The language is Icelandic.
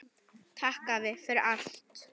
Takk afi, fyrir allt.